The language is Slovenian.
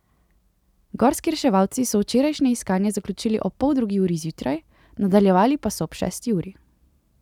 Gorski reševalci so včerajšnje iskanje zaključili ob pol drugi uri zjutraj, nadaljevali pa so ob šesti uri.